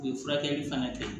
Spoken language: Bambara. U ye furakɛli fana kɛ